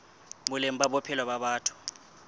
boleng ba bophelo ba batho